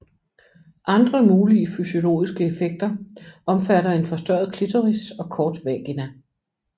Andre mulige fysiologiske effekter omfatter en forstørret clitoris og kort vagina